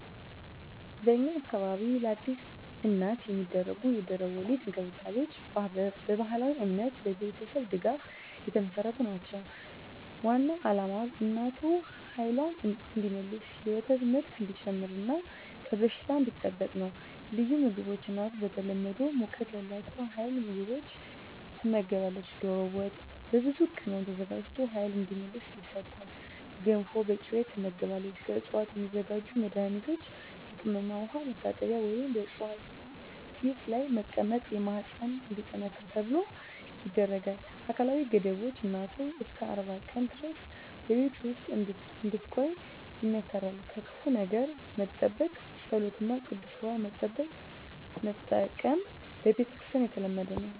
በእኛ አካባቢ ለአዲስ እናት የሚደረጉ የድህረ-ወሊድ እንክብካቤዎች በባህላዊ እምነትና በቤተሰብ ድጋፍ የተመሠረቱ ናቸው። ዋናው ዓላማ እናቱ ኃይልዋን እንዲመልስ፣ የወተት ምርት እንዲጨምር እና ከበሽታ እንዲጠበቅ ነው። ልዩ ምግቦች እናቱ በተለምዶ ሙቀት ያላቸው ኃይል ምግቦች ትመገባለች። ዶሮ ወጥ በብዙ ቅመም ተዘጋጅቶ ኃይል እንዲመልስ ይሰጣል። ገንፎ በቅቤ ትመገባለች። ከዕፅዋት የሚዘጋጁ መድኃኒቶች የቅመም ውሃ መታጠቢያ ወይም በዕፅዋት ጢስ ላይ መቀመጥ ማህፀን እንዲጠነክር ተብሎ ይደረጋል። አካላዊ ገደቦች እናቱ እስከ 40 ቀን ድረስ በቤት ውስጥ እንድትቆይ ይመከራል። ከክፉ ነገር መጠበቅ ጸሎት እና ቅዱስ ውሃ መጠቀም በክርስቲያኖች የተለመደ ነው።